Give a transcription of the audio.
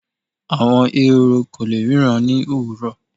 àwọn Ehoro ko le ríran ni owurọ